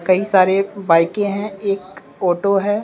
कई सारे बाइकें हैं एक ऑटो है।